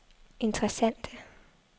interessante